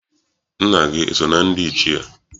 Nna gị eso na ndị Ichie?